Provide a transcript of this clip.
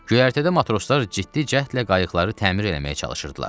Göyərtədə matroslar ciddi cəhdlə qayıqları təmir eləməyə çalışırdılar.